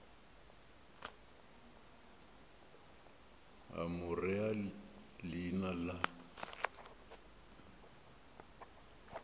a mo rea leina la